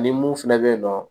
Ni mun fɛnɛ be yen nɔ